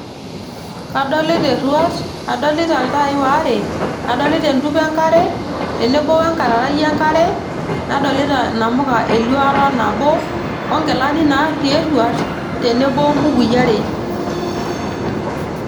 Kadolita eruat, kadolita iltai waare ,adolita entupa enkare tenebo wo enkararai enkare nadolita inamuka eluata nabo onkilani natii eruat tenebo ombukui are.